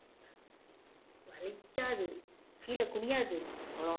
வலிக்காது கீழே குனியாது அவ்ளோவா